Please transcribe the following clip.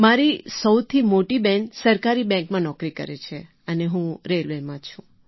મારી સૌથી મોટી બહેન સરકારી બૅન્કમાં નોકરી કરે છે અને હું રેલવેમાં છું